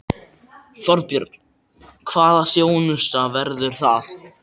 Þorbjörn: Hvaða þjónusta verður það?